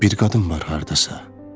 Bir qadın var hardasa.